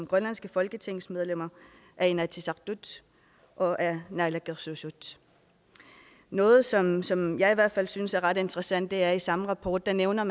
grønlandske folketingsmedlemmer af inatsisartut og af naalakkersuisut noget som som jeg i hvert fald synes er ret interessant er i samme rapport nævner